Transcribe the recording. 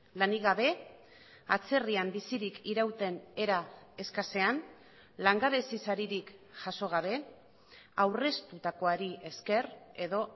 lanik gabe atzerrian bizirik irauten era eskasean langabezi saririk jaso gabe aurreztutakoari esker edo